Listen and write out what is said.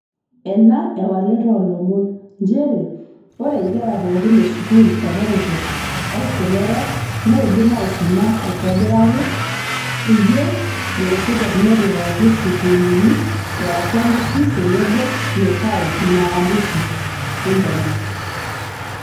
Enaa ewalet oo lomon njeree oree ingera pooki e skuul e kopokop olkila orook neidim aisuma aitobiraki, Eyieu ilaisotuak nepikaki sukuulini e aatua nkishu tenebo netaon naalus iip internet.